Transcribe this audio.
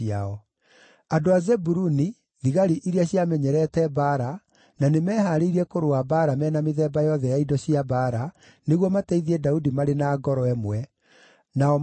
andũ a Zebuluni, thigari iria ciamenyerete mbaara, na nĩmehaarĩirie kũrũa mbaara me na mĩthemba yothe ya indo cia mbaara, nĩguo mateithie Daudi marĩ na ngoro ĩmwe, nao maarĩ 50,000;